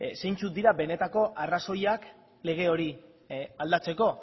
zeintzuk dira benetako arrazoiak lege hori aldatzeko